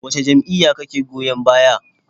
Wace jam'iyya kake goyon baya?